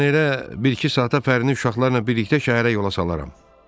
Mən elə bir-iki saata Fərini, uşaqları ilə birlikdə şəhərə yola salaram.